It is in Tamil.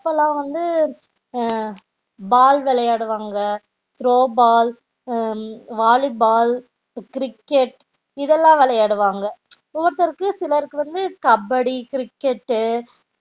அப்போலாம் வந்து ம் ball விளையடு வாங்க throwball volleyball cricket இது எல்லாம் விளையடு வாங்க ஒவ்வெரு ஒருத்தருக்கு சிலருக்கு கபடி cricket